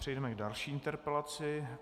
Přejdeme k další interpelaci.